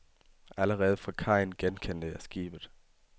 Allerede fra kajen genkendte jeg skibet.